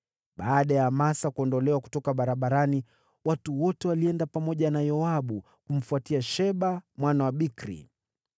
Baada ya Amasa kuondolewa kutoka barabarani, watu wote walienda pamoja na Yoabu kumfuatia Sheba mwana wa Bikri.